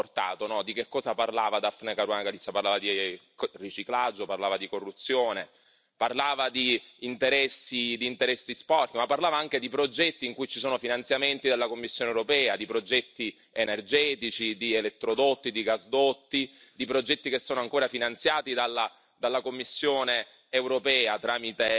Quello che ancora non è chiaro sono anche le cause che hanno portato, di che cosa parlava Daphne Caruana Galizia, parlava di riciclaggio, parlava di corruzione, parlava di interessi sporchi, ma parlava anche di progetti in cui ci sono finanziamenti della Commissione europea, di progetti energetici, di elettrodotti, di gasdotti, di progetti che sono ancora finanziati